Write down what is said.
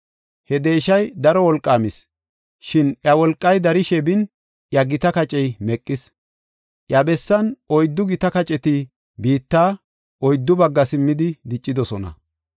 He deeshay daro wolqaamis; shin iya wolqay darishe bin, iya gita kacey meqis. Iya bessan oyddu gita kaceti biitta oyddu baggaa simmidi diccidosona.